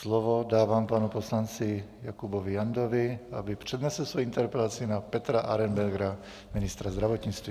Slovo dávám panu poslanci Jakubovi Jandovi, aby přednesl svoji interpelaci na Petra Arenbergera, ministra zdravotnictví.